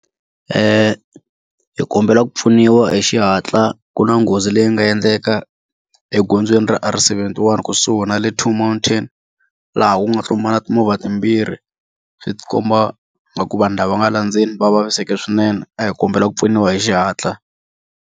Hi kombela ku pfuniwa hi xihatla ku na nghozi leyi nga endleka egondzweni ra R71 kusuhi na le Two Mountain laha ku nga tlumbana timovha timbirhi swi ti komba vanhu lava nga le ndzeni va vaviseke swinene a hi kombela ku pfuniwa hi xihatla.